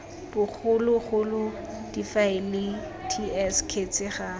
bogologolo difaele ts kgetse ga